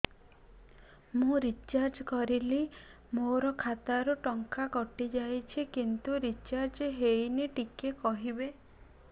ମୁ ରିଚାର୍ଜ କରିଲି ମୋର ଖାତା ରୁ ଟଙ୍କା କଟି ଯାଇଛି କିନ୍ତୁ ରିଚାର୍ଜ ହେଇନି ଟିକେ କହିବେ